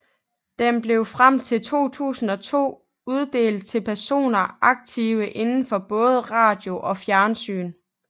Den blev frem til 2002 uddelt til personer aktive inden for både radio og fjernsyn